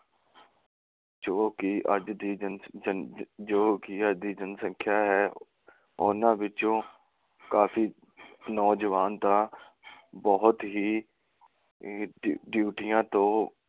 ਜੋ ਕਿ ਅੱਜ ਦੀ ਜਨ ਜੋ ਕਿ ਅੱਜ ਦੀ ਜਨਸੰਖਿਆ ਹੈ, ਉਨ੍ਹਾਂ ਵਿਚੋਂ ਕਾਫੀ ਨੌਜਵਾਨ ਤਾਂ ਬਹੁਤ ਹੀ ਡਿਊਟੀਆਂ ਤੋਂ